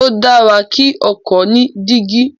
Ó dára kí ọkọ ni dígí